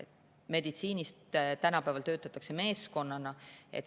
Meditsiinis töötatakse tänapäeval meeskonnana.